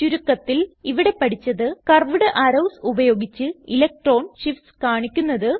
ചുരുക്കത്തിൽ ഇവിടെ പഠിച്ചത് കർവ്വ്ഡ് അറോവ്സ് ഉപയോഗിച്ച് ഇലക്ട്രോൺ ഷിഫ്റ്റ്സ് കാണിക്കുന്നത്